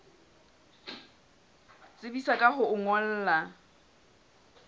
tsebisa ka ho o ngolla